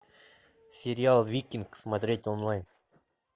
сериал викинг смотреть онлайн